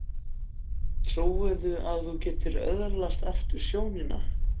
Trúirðu að þú getir öðlast aftur sjónina?